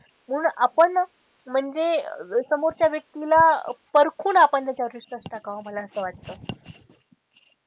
म्हणून आपण म्हणजे समोरच्या व्यक्तीला पारखून आपण त्याच्या वर विश्वास टाकावा मला असं वाटत.